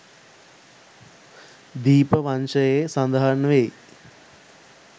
දීප වංසයේ සඳහන් වෙයි.